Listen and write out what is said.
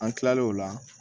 An kilalen o la